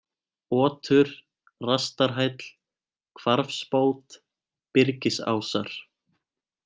Otur, Rastarhæll, Hvarfsbót, Byrgisásar